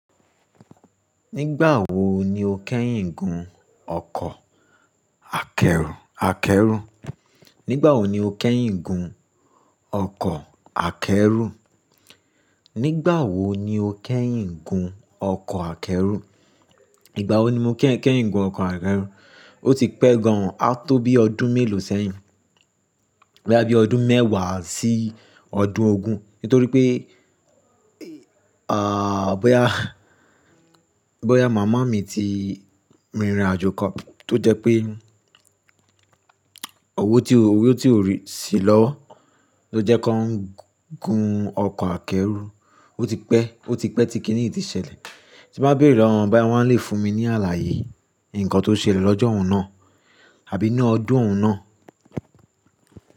Nígbà wo ni o kẹ́yìn gun ọkọ̀ akẹ́rù? Nígbà wo ni o kẹ́yìn gun ọkọ̀ akẹ́rù? Nígbà wo ni o kẹ́yìn gun ọkọ̀ akẹ́rù? Ígbà wo ni mo kẹ́yìn keyin gun ọkọ̀ akẹ́rù? O ti pẹ́ gan an, a tó bí ọdún mélòó sẹ́yìn. Bóyá bíi ọdún mẹ́wàá sí ọdún ogún. Nítorí pé, à, bóyá, bóyá màmá mi ti rin àjò kan tó jẹ́ pé òwó tí ò, òwó tí ò rí sílọ́wọ́ ló jẹ́ kí wọ́n gun ọkọ̀ akẹ́rù. O ti pẹ́, o ti pẹ́, tí kíni yìí ti ṣẹlẹ̀. Ti ń bá bèèrè lọ́wọ́ wọn báyìí, wọ́n lè fún mi ní àlàyé ǹkan tó ṣẹlẹ̀ lọ́jọ́ òhun náà àbí ní ọdún òhun náà?